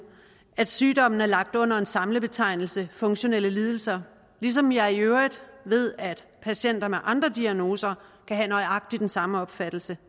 at sygdommen er lagt under samlebetegnelsen funktionelle lidelser ligesom jeg i øvrigt ved at patienter med andre diagnoser kan have nøjagtig den samme opfattelse